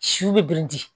Siw bɛ biriki